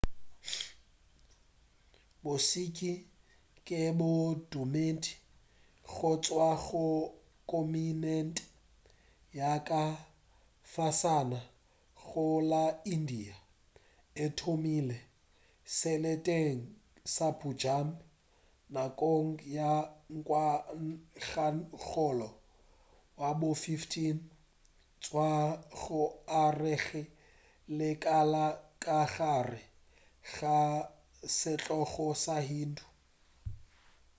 bo-sikh ke bodumedi go tšwa go kontinente ya ka fasana go la india e thomile seleteng sa punjab nakong ya ngwagakgolo wa bo 15 go tšwa go arogeng ga lekala ka gare ga setlogo sa hindu